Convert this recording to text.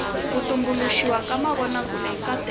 ku tumbuluxiwa ka mavonakule i nkateko